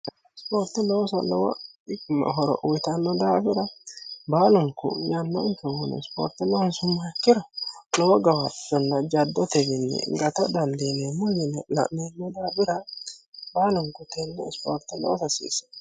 ispoorte noosa lowo diim horo uyitanno daabira baalunku yannonkehuni ispoorte loonsu ma ikkira lowo gawattonna jaddo tefinni gato danliine mulyini la'nenno daabira baalunku tenne ispoorte loo fasiisse